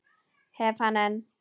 Hef hann enn.